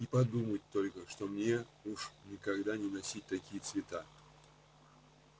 и подумать только что мне уж никогда не носить такие цвета